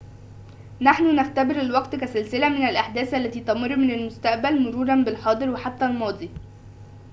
نحن نختبر الوقت كسلسلة من الأحداث التي تمر من المستقبل مروراً بالحاضر وحتى الماضي